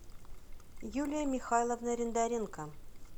юлия михайловна рендоренко